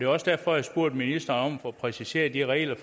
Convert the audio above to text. også derfor jeg spurgte ministeren om få præciseret de regler